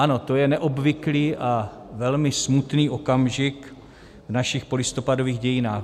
Ano, to je neobvyklý a velmi smutný okamžik v našich polistopadových dějinách.